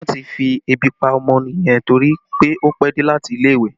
Wọn ti fi ebi pa ọmọ yẹn torí pé ó pẹ́ dé láti ilé ìwé